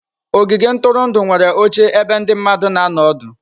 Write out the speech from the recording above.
Ogige ntụrụndụ nwere oche ebe ndị mmadụ na anọ ọdụ.